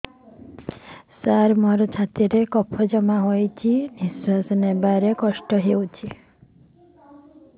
ସାର ମୋର ଛାତି ରେ କଫ ଜମା ହେଇଯାଇଛି ନିଶ୍ୱାସ ନେବାରେ କଷ୍ଟ ହଉଛି